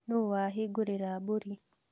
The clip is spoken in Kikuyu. Nũũ wahingũrĩra mbũri?